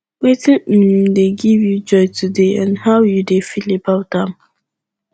wetin um dey give you joy today and how you dey feel about am